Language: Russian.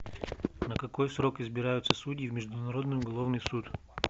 на какой срок избираются судьи в международный уголовный суд